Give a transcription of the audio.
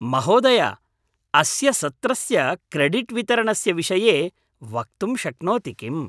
महोदय, अस्य सत्रस्य क्रेडिट्वितरणस्य विषये वक्तुं शक्नोति किम्‌?